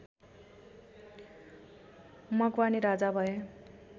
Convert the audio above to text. मकवानी राजा भए